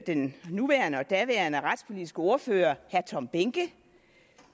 den nuværende og daværende retspolitiske ordfører herre tom behnke